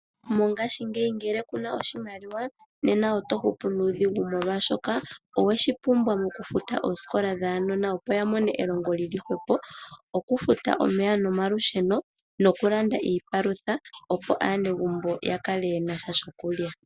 Mongashingeyi ngele ku na oshimaliwa nena oto hupu nuudhigu molwashoka oweshi pumbwa mokufuta oosikola dhaanona, opo ya mone elongo li li hwepo, okufuta omeya nomalusheno nokulanda iipalutha, opo aanegumbo ya kale ye na sha shokulya.